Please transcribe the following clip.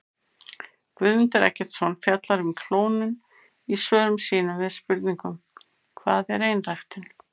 Guðmundur Eggertsson fjallar um klónun í svörum sínum við spurningunum Hvað er einræktun?